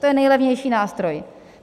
To je nejlevnější nástroj.